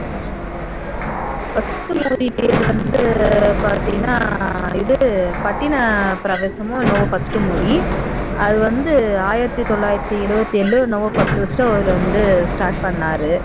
first movie பேர் வந்து பாத்தீங்கன்னா இது பட்டினப்பிரவேசமோ என்னவோ first movie அது வந்து ஆயிரத்து தொள்ளாயிரத்து எழுவத்தி ஏழுலயோ என்னவோ first first அவர் start பண்ணாரு movie